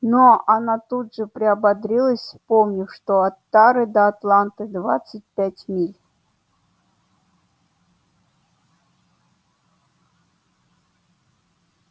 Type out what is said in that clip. но она тут же приободрилась вспомнив что от тары до атланты двадцать пять миль